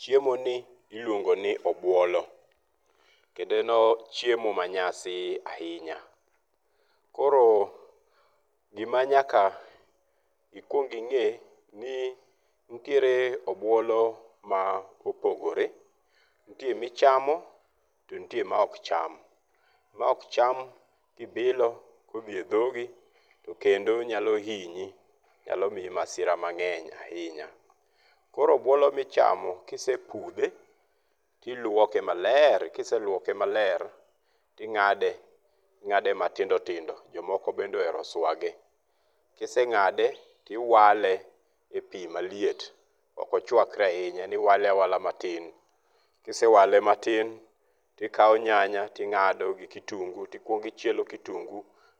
Chiemo ni iluongo ni obuolo. Kendo en chiemo ma nyasi ahinya. Koro gima nyaka ikwong ing'e ni nitiere obuolo ma opogore. Nitie ma ichamo to nitie ma ok cham. Ma ok cham kibilo, kodhi e dhogi to kendo nyalo hinyi, nyalo miyi masira mang'eny ahinya. Koro obuolo michamo kisepudhe to iluoke maler. Kiseluoke maler to ing'ade, ing'ade matindo matindo. Jomoko bende ohero swage. Ka iseng'ade to iwale e pi maliet. Ok ochwakre ahinya. En iwale awala matin. Ka ise wale matin to ikawo nyanya to ing'ado gi kitungu. To ikuongo ichielo kitungu